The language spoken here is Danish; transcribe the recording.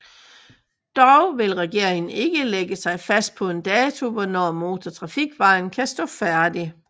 Dog vil regeringen ikke lægge sig fast på en dato på hvornår motortrafikvejen kan stå færdig